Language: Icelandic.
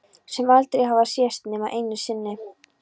Sem aldrei hafa sést nema einu sinni.